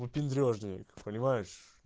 выпендрёжник понимаешь